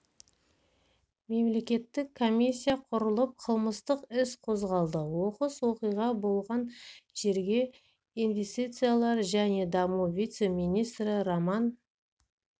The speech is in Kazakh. мемлекеттік комиссия құрылып қылмыстық іс қозғалды оқыс оқиға болған жерге инвестициялар және даму вице-министрі роман